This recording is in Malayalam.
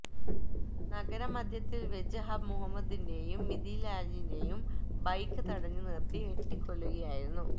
നഗരമധ്യത്തില് വച്ച് ഹഖ് മുഹമ്മദിന്െ്റയു മിഥിലാജിന്െ്റയും ബൈക്ക് തടഞ്ഞ് നിര്ത്തി വെട്ടിക്കൊല്ലുകയായിരുന്നു